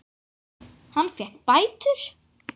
Hann fékk bætur.